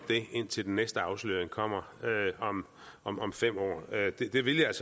indtil den næste afsløring kommer om om fem år det vil jeg